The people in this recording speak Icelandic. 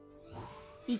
í